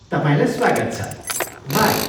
तपाईँलाई स्वागत छ। बाई!